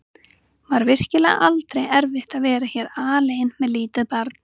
Var virkilega aldrei erfitt að vera hér alein með lítið barn?